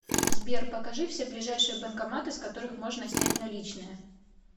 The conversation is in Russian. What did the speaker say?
сбер покажи все ближайшие банкоматы с которых можно снять наличные